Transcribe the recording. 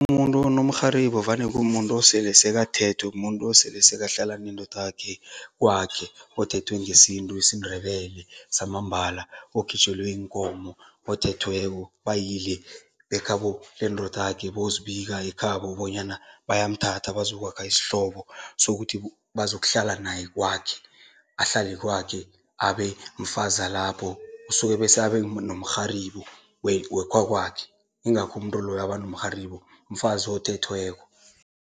Umuntu onomrharibo vane kumuntu osele sekathethwe, muntu osele sekahlala nendodakhe kwakhe, othethwe ngesintu isiNdebele samambala, okhitjhelwe iinkomo, othethweko, bayile bekhabo lendodakhe bozibika ekhabo bonyana bayamthatha bazokwakha isihlobo sokuthi bazokuhlala naye kwakhe, ahlale kwakhe abe mfazalapho. Usuke bese abe nomrharibo wekhakwakhe, ingakho umuntu loyo aba nomrharibo, mfazi othethweko.